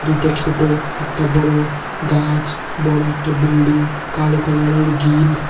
ছোট একটা বড় গাছ বড় একটা বিল্ডিং কালো কালারের গিল --